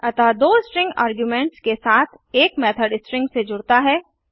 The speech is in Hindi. अतः दो स्ट्रिंग आर्ग्युमेंट्स के साथ एड मेथड स्ट्रिंग से जुडता है